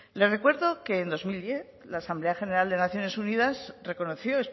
le recuerdo que en dos mil diez la asamblea general de naciones unidas reconoció